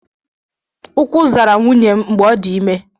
Ukwu zara nwunye m mgbe ọ dị ime